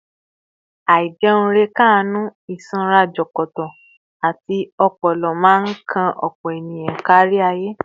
Àìjẹunrekánú, ìsanra jọ̀kọ̀tọ̀, àti ọpọlọ máa ń kan ọ̀pọ̀ èèyàn kárí ayé